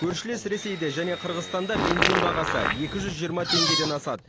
көршілес ресейде және қырғызстанда бензин бағасы екі жүз жиырма теңгеден асады